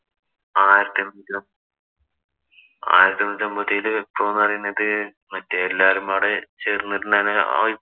ആയിരത്തി എണ്ണൂറ്റി അമ്പ ആയിരത്തി എണ്ണൂറ്റി അമ്പത്തിയേഴിലെ വിപ്ലവം എന്ന് പറയുന്നത് മറ്റേ എല്ലാവരും കൂടെ ചേര്‍ന്ന് നിന്നാണ് ആ വി